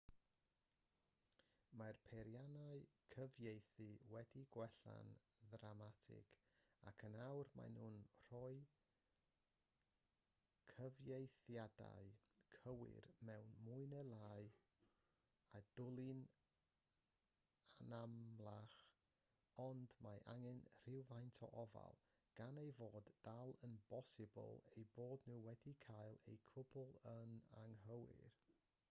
mae'r peiriannau cyfieithu wedi gwella'n ddramatig ac yn awr maen nhw'n rhoi cyfieithiadau cywir mwy neu lai a dwli'n anamlach ond mae angen rhywfaint o ofal gan ei fod dal yn bosibl eu bod nhw wedi cael y cwbl yn anghywir